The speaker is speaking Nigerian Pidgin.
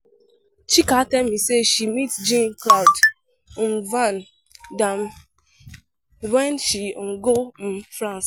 Chika tell me say she meet Jean Claude Van Dam wen she go France.